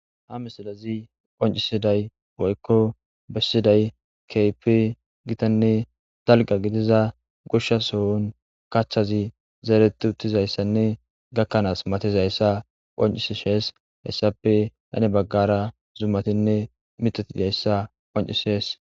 Haa misilezzi qonccissidayi woyikko bessidayi kehippe gitanne daligga gidizza goshsha sohonni kaththazzi zeretti uttizayissanne gakanass matizayissa qonccisishshe .hessappe hani bagara zumattinne miththatti de'iyassati qonccissess.